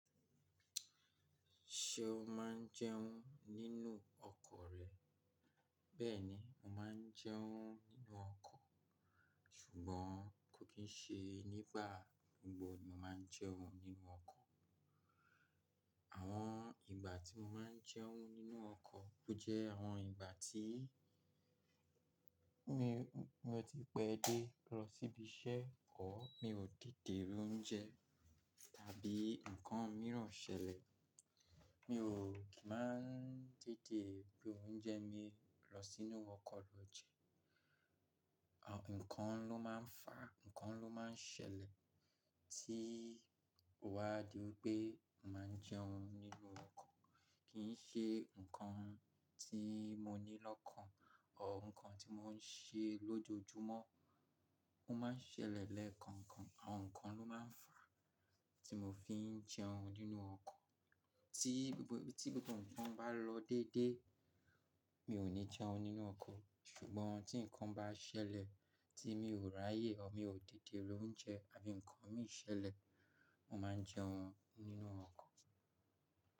Ṣé o máa ń jẹun nínú ọkọ̀ rẹ? Bẹ́ẹ̀ni, mo máa ń jẹun nínú ọkọ̀, ṣùgbọ́n kò kí ń ṣe nígbà gbogbo ni mo máa ń jẹun nínú ọkọ̀. Àwọn ìgbà tí mo máa ń jẹun nínú ọkọ̀, ó jẹ́ àwọn ìgbà tí mi o ti pẹ́ dé lọ síbi iṣẹ́ or, mi ò tete ro n oúnjẹ tàbí nǹkan mìíràn ṣẹlẹ̀. Mi ò kí máa ń dìde gbé oúnjẹ mi lọ sínú ọkọ̀ lọ jẹ. Àwọn nǹkan ló máa ń fà á, nǹkan ló máa ń ṣẹlẹ̀ tí wà á di wípé mo máa ń jẹun nínú ọkọ̀. Kì í ṣe nǹkan tí mo ní lọ́kàn or nǹkan tí mo ń ṣe lójoojúmọ́. Ó máa ń ṣẹlẹ̀ lẹ́ẹ̀kọ̀ọ̀kan, àwọn nǹkan ló máa ń fà á tí mo fi ń jẹun nínú ọkọ̀. Tí gbogbo tí gbogbo nǹkan bá lọ déédéé, mi ò ní jẹun nínú ọkọ̀. Ṣùgbọ́n tí nǹkan bá ṣẹlẹ̀ tí mi ò rààyè o mi ò dìde gbé oúnjẹ àbí nǹkan mìí ṣẹlẹ̀, mo máa ń jẹun nínú ọkọ̀.